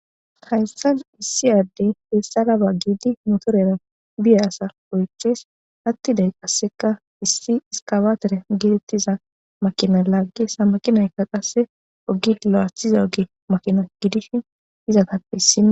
haysan ta issi addey hessaga baggidi motorera biya asar oyches hattiday qasseka issi iskawatere gedettiza makina laagge samaqinaykka qasse ogid lo7athiza oge makina gidishi izatappehissi